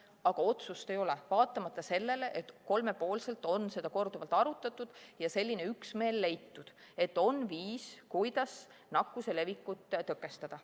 Aga otsust ei ole, vaatamata sellele, et kolmepoolselt on seda korduvalt arutatud ja selline üksmeel leitud, et on viis, kuidas nakkuse levikut tõkestada.